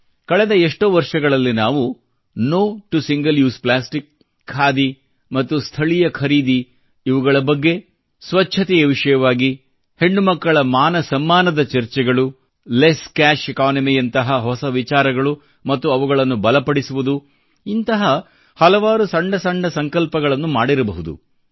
ಕಳೆದ ಎμÉ್ಟೂೀ ವರ್ಷಗಳಲ್ಲಿ ನಾವು no to single use plastic khadi ಮತ್ತು ಸ್ಥಳೀಯ ಖರೀದಿ ಇವುಗಳ ಬಗ್ಗೆ ಸ್ವಚ್ಚತೆಯ ವಿಷಯವಾಗಿ ಹೆಣ್ಣುಮಕ್ಕಳ ಮಾನಸಮ್ಮಾನದ ಚರ್ಚೆಗಳು ಲೆಸ್ ಕ್ಯಾಶ್ ಇಕಾನಮಿ ಯಂತಹ ಹೊಸ ವಿಚಾರಗಳು ಮತ್ತು ಅವುಗಳನ್ನು ಬಲಪಡಿಸುವುದು ಇಂತಹ ಹಲವಾರು ಸಣ್ಣ ಸಣ್ಣ ಸಂಕಲ್ಪಗಳನ್ನು ಮಾಡಿರಬಹುದು